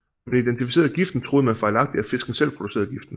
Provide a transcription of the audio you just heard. Da man identificerede giften troede man fejlagtigt at fisken selv producerede giften